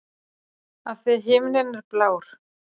Af því að himinninn er blár.